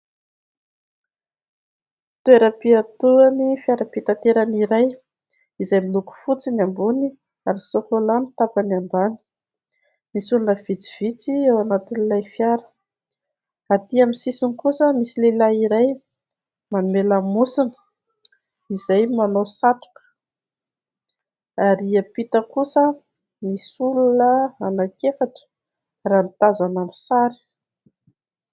Toeram-piatoan'ny fiara fitaterana iray, izay miloko fotsy ny ambony, ary sôkôla ny tapany ambany. Misy olona vitsivitsy ao anatin'ilay fiara ; aty amin'ny sisiny kosa misy lehilahy iray, manome lamosina, izay manao satroka ; ary ampita kosa misy olona anankiefatra, raha ny tazana amin'ny sary.